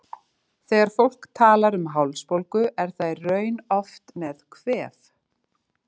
Þegar fólk talar um hálsbólgu er það í raun oft með kvef.